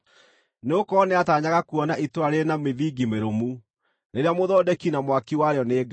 Nĩgũkorwo nĩataanyaga kuona itũũra rĩrĩ na mĩthingi mĩrũmu, rĩrĩa mũthondeki na mwaki warĩo nĩ Ngai.